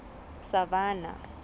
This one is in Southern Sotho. savannah